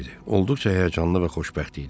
Olduqca həyəcanlı və xoşbəxt idi.